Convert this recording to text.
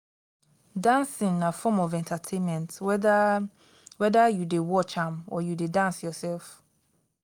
dancing na form of entertainment whether whether you de watch am or you de dance yourself